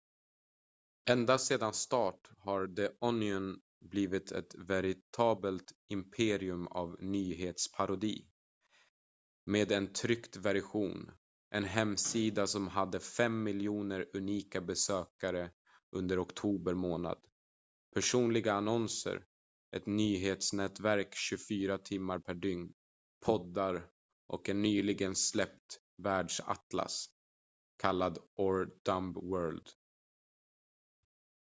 ända sedan start har the onion blivit ett veritabelt imperium av nyhetsparodi med en tryckt version en hemsida som hade 5 000 000 unika besökare under oktober månad personliga annonser ett nyhetsnätverk 24 timmar per dygn poddar och en nyligen släppt världsatlas kallad our dumb world